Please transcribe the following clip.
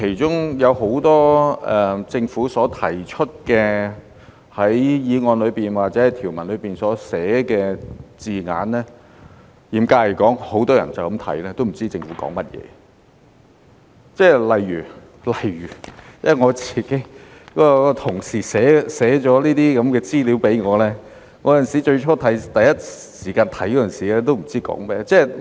政府在法案條文內所寫的多個字眼，嚴格來說，很多人看到也不知政府說甚麼，例如我的同事寫了這些資料給我，我最初看的時候，也不知道是說甚麼。